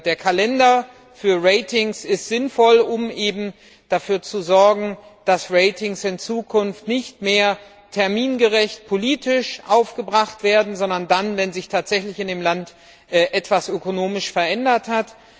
Der Kalender für Ratings ist sinnvoll, um dafür zu sorgen, dass Ratings in Zukunft nicht mehr termingerecht politisch aufgebracht werden, sondern dann, wenn sich tatsächlich in dem Land etwas ökonomisch verändert hat.